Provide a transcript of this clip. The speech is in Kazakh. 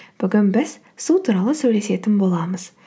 бүгін біз су туралы сөйлесетін боламыз